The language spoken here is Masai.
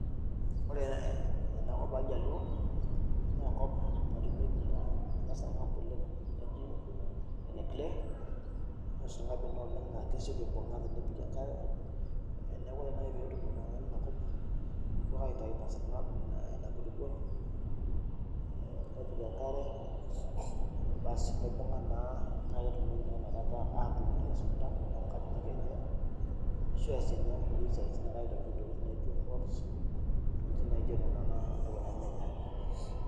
Ore ena enakop ooljaluo naa enkop natumieki ena sarng'ab oleng' naji eneklay, naa esarng'ab ina oleng' naa kesioki aibung'a tenepiki enkare, neeku ore nai petum iltung'ani inakop kepuo ake aitayu ina sarng'ab ina kulukuoni ee, nepik enkare nibung'a naa naaketumoki naa ina kata aatumurie isunta oonkajijik enye, ashu easie inkulie siatin aitobir intokitin naijo cs[pots]cs intokitin naijo nena aiko taa nejia.